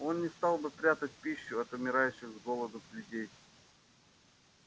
он не стал бы прятать пищу от умирающих с голоду людей